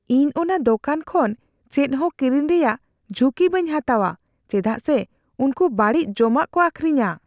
ᱤᱧ ᱚᱱᱟ ᱫᱚᱠᱟᱱ ᱠᱷᱚᱱ ᱪᱮᱫ ᱦᱚᱸ ᱠᱤᱨᱤᱧ ᱨᱮᱭᱟᱜ ᱡᱷᱩᱸᱠᱤ ᱵᱟᱹᱧ ᱦᱟᱛᱟᱣᱼᱟ ᱪᱮᱫᱟᱜ ᱥᱮ ᱩᱱᱠᱩ ᱵᱟᱹᱲᱤᱡ ᱡᱚᱢᱟᱜ ᱠᱚ ᱟᱹᱠᱷᱨᱤᱧᱟ ᱾